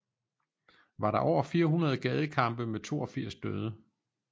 Var der over 400 gadekampe med 82 døde